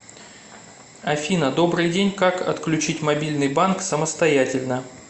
афина добрый день как отключить мобильный банк самостоятельно